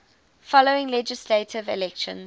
following legislative elections